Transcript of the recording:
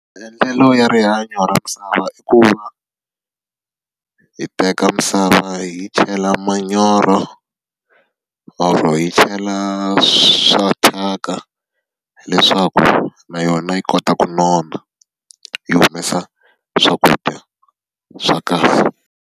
Maendlelo ya rihanyo ra misava i ku va, hi teka misava yi chela manyoro or-o yi chela swa thyaka. Leswaku na yona yi kota ku nona yi humesa swakudya swa kahle.